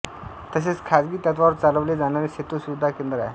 तसेच खाजगी तत्त्वावर चालवले जाणारे सेतु सुविधा केंद्र आहे